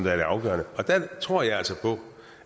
er det afgørende og jeg tror altså på